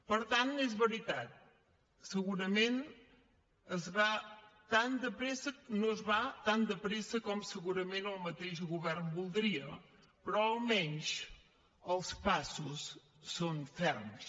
per tant és veritat segurament no es va tan de pressa com segurament el mateix govern voldria però almenys els passos són ferms